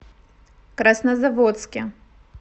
краснозаводске